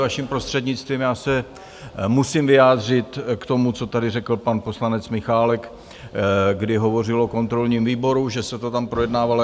Vaším prostřednictvím, já se musím vyjádřit k tomu, co tady řekl pan poslanec Michálek, kdy hovořil o kontrolním výboru, že se to tam projednávalo.